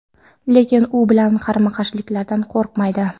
lekin u bilan qarama-qarshilikdan qo‘rqmaydi.